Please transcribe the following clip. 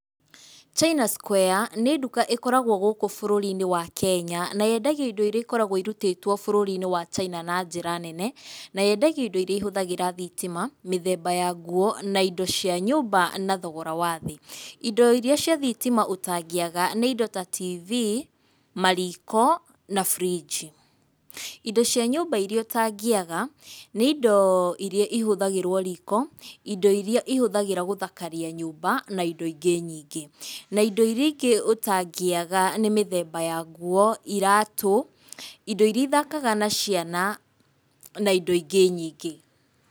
China Square nĩ nduka ĩkoragwo gũkũ bũrũri-inĩ wa Kenya na yendagia indo iria ikoragwo irurĩtwo bũrũri-inĩ wa China na njĩra nene, na yendagio indo iria ihũthagĩra thitima, mĩthemba ya nguo, na indo cia nyũmba, na thogora wa thĩ. Indo iria cia thitima ũtangĩaga nĩ indo ta TV, mariko na bũrinji. Indo cia nyũmba iria ũtangĩaga nĩ indo iria ihũthagĩrwo riko, indo iria ihũthagĩrwo gũthakaria nyũmba na indo ingĩ nyingĩ, na indo iria ingĩ ũtangĩaga nĩ mĩthemba ya nguo, iratũ, indo iria ithakaga na ciana na indo ingĩ nyingĩ.